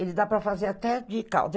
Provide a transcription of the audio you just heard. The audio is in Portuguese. Ele dá para fazer até de causa.